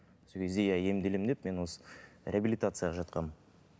сол кезде иә емделемін деп мен осы реабилитацияға жатқанмын